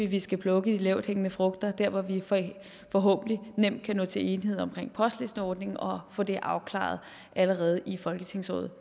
vi skal plukke de lavthængende frugter dér hvor vi forhåbentlig nemt kan nå til enighed om postlisteordningen og få det afklaret allerede i folketingsåret